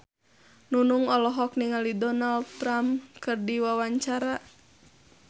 Nunung olohok ningali Donald Trump keur diwawancara